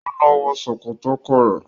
Ó lọ wọ Sòkòtò ọkọ rẹ.